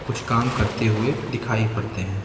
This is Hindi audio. कुछ काम करते हुए दिखाई पड़ते हैं।